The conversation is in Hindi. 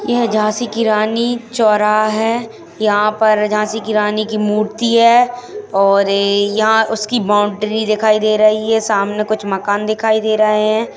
यह झाँसी की रानी चोराह है यहाँ पर झाँसी की रानी की मूर्ति है और ये यहाँ उसकी बाउण्ड्री दिखाई दे रही है सामने कुछ मकान दिखाई दे रहे हैं।